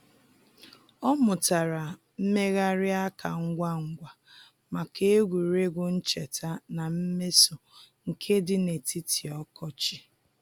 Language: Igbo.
Ọ mụtara mmegharị aka ngwa ngwa maka egwuregwu ncheta na mmeso nke di n'etiti ọkọchị.